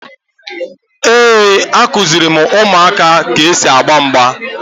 Ee, a kuziri m ụmụaka ka e si agba mgba